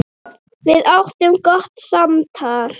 Við áttum gott samtal.